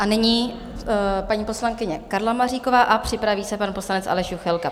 A nyní paní poslankyně Karla Maříková a připraví se pan poslanec Aleš Juchelka.